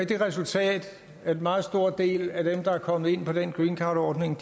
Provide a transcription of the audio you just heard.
det resultat at en meget stor del af dem der er kommet ind på den greencardordning